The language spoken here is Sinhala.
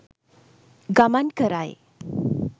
ගමන් කරයි.